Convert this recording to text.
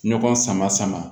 Ɲɔgɔn sama sama